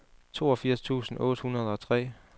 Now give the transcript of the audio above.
toogfirs tusind otte hundrede og tre